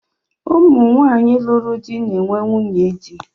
Ụmụ nwaanyị lụrụ di na-enwe nwunye di